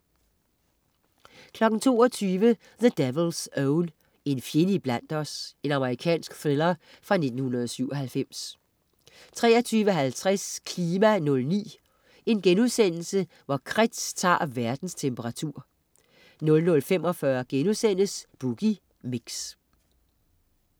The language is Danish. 22.00 The Devil's Own. En fjende iblandt os. Amerikansk thriller fra 1997 23.50 KLIMA 09: Kretz tager verdens temperatur* 00.45 Boogie Mix*